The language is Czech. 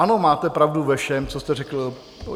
Ano, máte pravdu ve všem, co jste řekl.